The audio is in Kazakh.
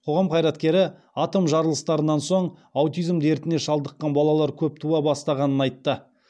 қоғам қайраткері атом жарылыстарынан соң аутизм дертіне шалдыққан балалар көп туа бастағанын айтты